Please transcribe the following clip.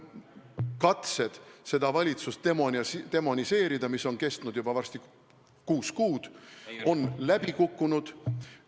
Katsed seda valitsust demoniseerida, mis on kestnud varsti juba kuus kuud, on läbi kukkunud.